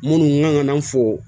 Minnu kan ka na fo